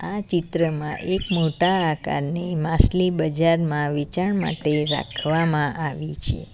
આ ચિત્રમાં એક મોટા આકારની માસલી બજારમાં વેચાણ માટે રાખવામાં આવી છે.